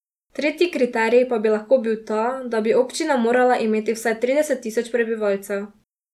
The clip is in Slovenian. Tretji kriterij pa bi lahko bil ta, da bi občina morala imeti vsaj trideset tisoč prebivalcev.